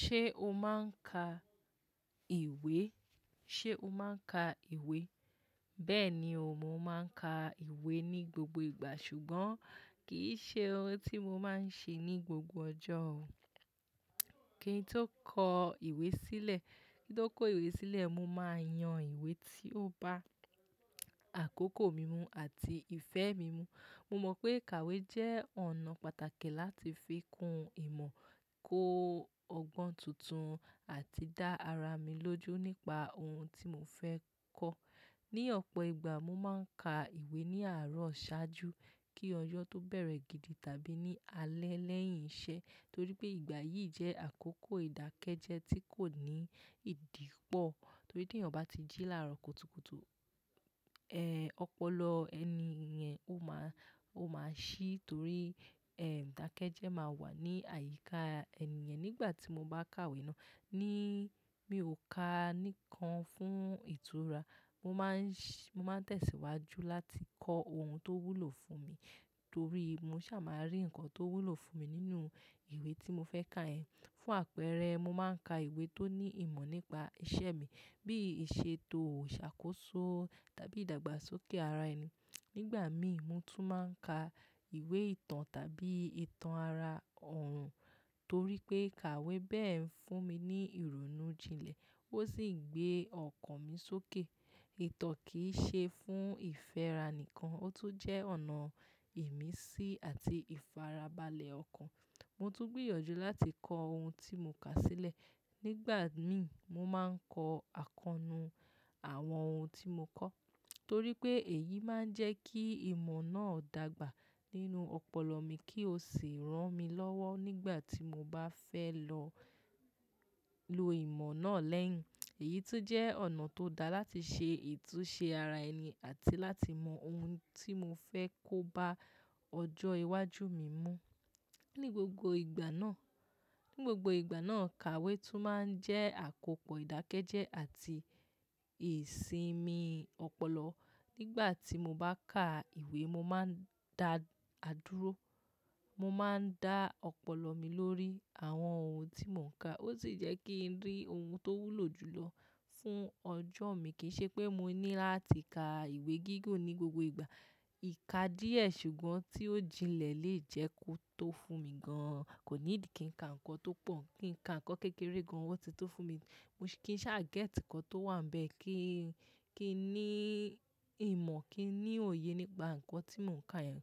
Ṣé o máa ń ka ìwé? Ṣé o máa ń ka ìwé? Bẹ́ẹ̀ni o, mo máa ń ka ìwé ní gbogbo ìgbà, ṣùgbọ́n kì í ṣe ohun tí mo máa ń ṣe ní gbogbo ọjọ́ o. Kíni tó kó ìwé sílẹ̀? Kíni tó kó ìwé sílẹ̀? Mo máa yan ìwé tí ó bá àkókò mímu àti ìfẹ́ mi mu. Mo mọ̀ pé kàwé jẹ́ ọ̀nà pàtàkì láti fi kun ìmọ̀, kó ọgbọ́n tuntun àti dá ara mi lójú nípa ohun tí mo fẹ́ kọ̀. Ni ọ̀pọ̀ ìgbà mo máa ń ka ìwé ní àárọ̀ ṣáájú kí ọjọ́ tó bẹ̀rẹ̀ gidi tàbí ní alẹ́ lẹ́yìn iṣẹ́, torí pé ìgbà yìí jẹ́ àkókò ìdákẹ́jẹ́ẹ́ tí kò ní ìdìpọ̀. Torí bí ènìyàn bá ti jí láàárọ̀ kùtùkùtù, eh, ọpọlọ ẹni yẹn ó máa, ó máa ṣí torí, ẹ́, ìdákẹ́jẹ́ máa wà ní àyíká ẹni yẹn. Nígbà tí mo bá ka ìwé náà, ní mi ò ka níkan fún ìtura. Mo máa ń ṣ-- mo máa ń tẹ̀síwájú láti kọ́ ohun tó wúlò fún mi, torí mo ṣà màá rí nǹkan tó wúlò fún mi nínú ìwé tí mo fẹ́ kà ẹ́. Fún àpẹẹrẹ, mo máa ń ka ìwé tó ní ìmọ̀ nípa iṣẹ́ mi bí i ìṣètò, ṣàkóso tàbí ìdàgbàsókè ara ẹni. Nígbà mi, mo tún máa ń ka ìwé ìtàn tàbí ìtàn ara òòrùn torí pé kàwé bẹ́ẹ̀ ń fún mi ní ìrònú jinlẹ̀, ó sì ń gbé ọkàn mi sókè. Ìtàn kì í ṣe fún ìfẹ́ra nìkan, ó tún jẹ́ ọ̀nà ìmísí àti ìfarabalẹ̀ ọkàn. Mo tún gbìyànjú láti kọ́ ohun tí mo kà sílẹ̀. Nígbà mi, mo máa ń kọ àkọnu àwọn ohun tí mo kọ̀ torí pé èyí máa ń jẹ́ kí ìmọ̀ náà dàgbà nínú ọpọlọ mi kí ó sì rán mi lọ́wọ́ nígbà tí mo bá fẹ́ lọ lo ìmọ̀ náà lẹ́yìn. Èyí tún jẹ́ ọ̀nà tó dáa láti ṣe ìtúsẹ ara ẹni àti láti mọ ohun tí mo fẹ́ kó bá ọjọ́ iwájú mi mú. Ni gbogbo ìgbà náà, ní gbogbo ìgbà náà, kàwé tún máa ń jẹ́ àkópọ̀ ìdákẹ́jẹ́ àti ìsinmi ọpọlọ. Nígbà tí mo bá ka ìwé, mo máa ń da àdúró, mo máa ń dá ọpọlọ mi lórí àwọn ohun tí mò ń kà. Ó sì jẹ́ kí n rí ohun tó wúlò jù lọ fún ọjọ́ mi. Kì í ṣe pé mo ní láti ka ìwé gígùn ní gbogbo ìgbà. Ìka díẹ̀ ṣùgbọ́n tí ó jinlẹ̀ lè jẹ́ kó tó fún mi gan-an. Kò nídíì kí n ka nǹkan tó pọ̀, kí n ka nǹkan kékeré gan-an, ohun tí ó ti tó fún mi. Mo kì í ṣà gẹ́ti nǹkan tó wà ńbẹ kí, kí ní ìmọ̀, kí ní òye nípa nǹkan tí mò ń ka yẹn.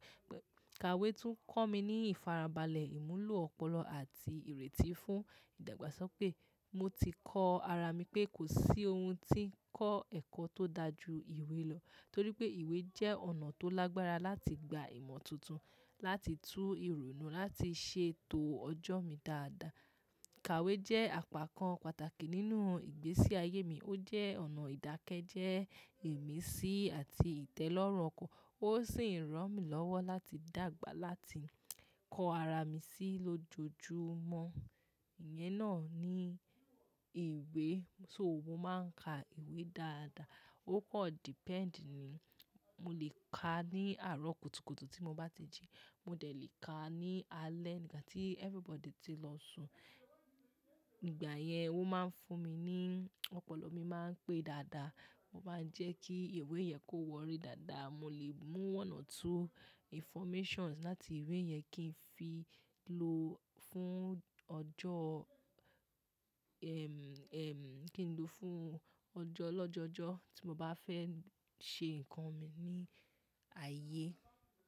Kàwé tún kọ́ mi ní ìfarabalẹ̀ ìmúlò ọpọlọ àti ìrètí fún ìdàgbàsókè. Mo ti kọ ara mi pé kò sí ohun tí ń kọ́ ẹ̀kọ́ tó dà ju ìwé lọ, torí pé ìwé jẹ́ ọ̀nà tó lágbára láti gba ìmọ̀ tuntun, láti tú ìrònú, láti ṣe ètò ọjọ́ mi dáadáa. Kàwé jẹ́ àpákan pàtàkì nínú ìgbésí ayé mi. Ó jẹ́ ọ̀nà ìdákẹ́jẹ́, ìmísí àti ìtẹ́lọ́rùn ọkọ. Ó sì ń rán mi lọ́wọ́ láti dàgbà láti kọ ara mi sí lójoojúmọ́. Ìyẹn náà ni ìwé, so mo máa ń ka ìwé dáadáa. Ó pọ̀ depend ni. Mo lè ka ní àárọ̀ kùtùkùtù tí mo bá ti jí. Mo dẹ̀ lè ka ní alẹ́ nígbà tí everybody ti lọ sùn. Nígbà yẹn, ó máa ń fún mi ní ọpọlọ mi máa ń pé dáadáa. Mo máa ń jẹ́ kí ìwé yẹn kó wọrí dáadáa. Mo lè mú ọ̀nà tó informations láti ìwé yẹn kí n fi lò fún ọjọ́, ẹm, ẹm, kí n lò fún ọjọ́ lọ́jọjọ́ tí mo bá fẹ́ ṣe nǹkan mi ní ayé.